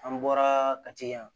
An bɔra ka tiyan